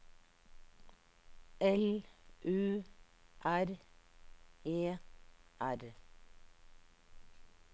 L U R E R